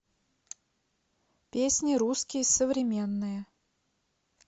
песни русские современные